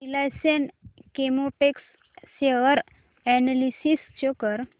Reliance Chemotex share analysis show कर